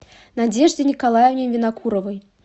надежде николаевне винокуровой